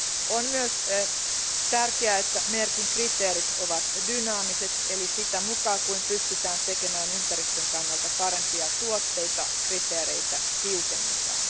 On myös tärkeää, että merkin kriteerit ovat dynaamiset, eli sitä mukaa kun pystytään tekemään ympäristön kannalta parempia tuotteita, kriteereitä tiukennetaan.